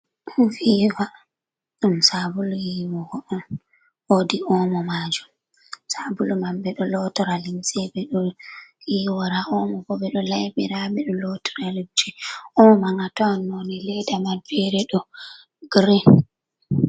Viva ɗum sabulu yiiwugo on, woodi omo majum, sabulu man ɓeɗo lotora limse, ɓeɗo yiiwara, omo bo ɓeɗo laiɓira, ɓeɗo lotora, omo man a tawan none leda man fere ɗo girin.